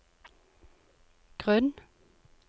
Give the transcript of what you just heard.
grunn